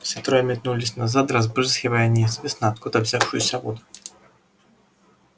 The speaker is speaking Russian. все трое метнулись назад разбрызгивая неизвестно откуда взявшуюся воду